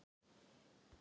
Því var málinu vísað frá.